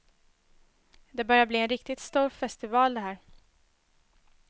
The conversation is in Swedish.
Det börjar bli en riktigt stor festival, det här.